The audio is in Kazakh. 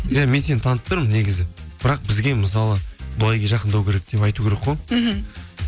иә мен сені танып тұрмын негізі бірақ бізге мысалы былай жақындау керек деп айту керек қой мхм